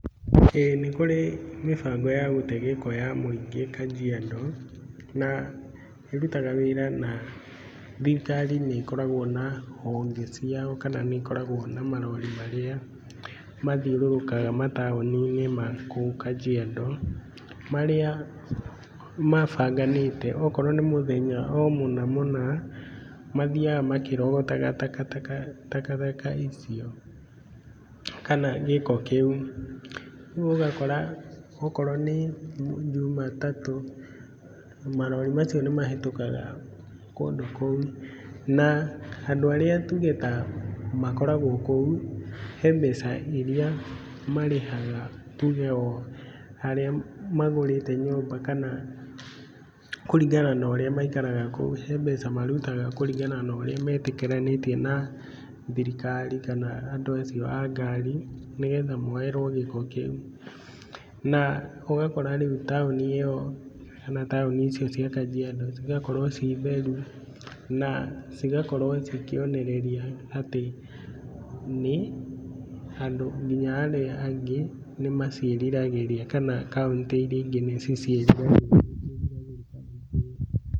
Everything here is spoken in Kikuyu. Ĩĩ nĩ kũrĩ mĩbango ya gũte gĩko ya mũingĩ Kajiado, na ĩrutaga wĩra na thirikari nĩkoragwo na honge ciao kana nĩkoragwo na marori marĩa mathiũrũrũkaga mataũni-inĩ ma kũu Kajiado, marĩa mabanganĩte okorwo nĩ mũthenya o mũna mũna, mathiaga makĩrogotaga takataka takataka icio kana gĩko kĩu. Rĩu ũgakora okorwo nĩ Jumatatũ, marori macio nĩmahĩtũkaga kũndũ kũu na andũ arĩa tuge ta makoragwo kũu, he mbeca iria marĩhaga tuge o harĩa magũrĩte nyũmba kana kũringana na ũrĩa maikaraga kũu, he mbeca marutaga kũringana na ũrĩa metĩkĩranĩtie na thirikari kana andũ acio a ngari, nĩgetha moerwo gĩko kĩu. Na ũgakora rĩu taũni ĩyo kana taũni icio cia Kajiado cigakorwo ci theru, na cigakorwo ci kĩonereria atĩ nĩ andũ kinya arĩa angĩ nĩmaciĩriragĩria kana kauntĩ iria ingĩ nĩcio ciĩriragĩria.